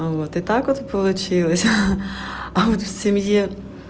вот и так вот получилось а вот в семье